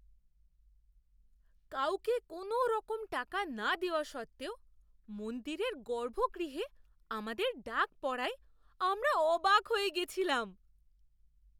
কাউকে কোনওরকম টাকা না দেওয়া সত্ত্বেও মন্দিরের গর্ভগৃহে আমাদের ডাক পড়ায় আমরা অবাক হয়ে গেছিলাম!